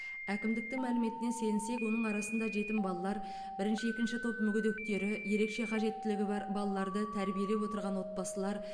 әкімдіктің мәліметіне сенсек оның арасында жетім балалар бірінші екінші топ мүгедектері ерекше қажеттілігі бар балаларды тәрбиелеп отырған отбасылар